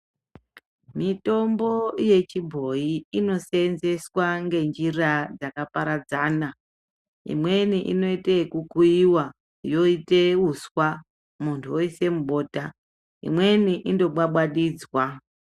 Mitombo yechibhoyi inoseenzeswa ngenjira dzakaparadzana, imweni inoyite okukuyiwa, yoite uswa muntu uyise mubota, imweni indobwabwadidzwa.